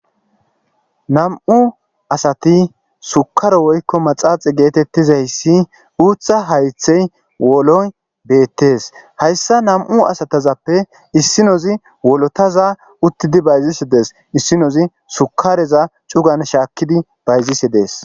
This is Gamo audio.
Nam'u asati sukare woykko maxaaxi geetettizayssi uutha haythey woloy beettees hayssa nam'u asatazappe issinozi wolotaza uttidi bayzisi dees issinozi sukareza c'ugan shaakkidi bayzisi dees.